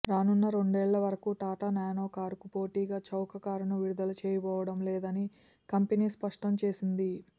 రానున్న రెండేళ్ల వరకూ టాటా నానో కారుకు పోటీగా చౌక కారును విడుదల చేయబోవడం లేదని కంపెనీ స్పష్టం చేసింది